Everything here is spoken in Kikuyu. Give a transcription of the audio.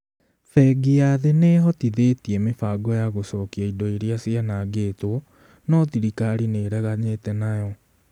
"Bengi ya Thĩ nĩ ĩhotithĩtie mĩbango ya gũcokia indo iria cianangĩtwo, no thirikari nĩ ĩreganĩte nayo".